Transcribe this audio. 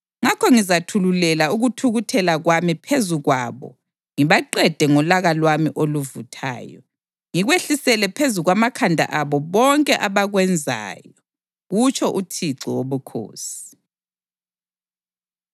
Ngakho ngizathululela ukuthukuthela kwami phezu kwabo ngibaqede ngolaka lwami oluvuthayo, ngikwehlisele phezu kwamakhanda abo bonke abakwenzayo, kutsho uThixo Wobukhosi.”